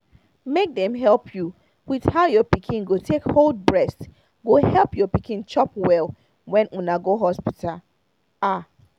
make dem help you with how your pikin go take hold breast go help your pikin chop well when una go hospital ah